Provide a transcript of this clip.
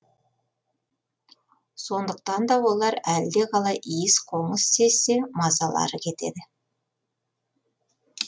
сондықтан да олар әлдеқалай иіс қоңыс сезсе мазалары кетеді